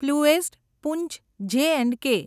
પ્લુએસ્ટ પૂંચ J and કે